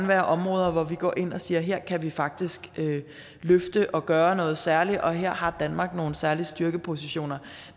være områder hvor vi går ind og siger at her kan vi faktisk løfte og gøre noget særligt og her har danmark nogle særlige styrkepositioner